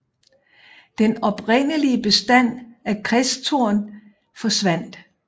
Den oprindelige bestand af kristtorn forsvandt